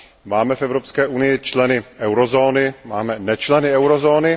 Máme v Evropské unii členy eurozóny, máme nečleny eurozóny.